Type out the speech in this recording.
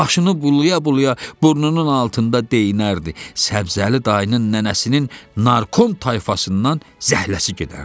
Başını bulaya-bulaya burnunun altında deyinərdi: Səbzəli dayının nənəsinin narkom tayfasından zəhləsi gedərdi.